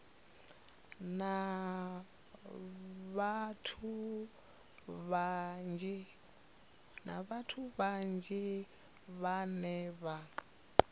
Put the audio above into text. na vhathu vhanzhi vhane vha